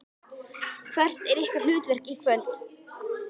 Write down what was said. Hvert er ykkar hlutverk í kvöld?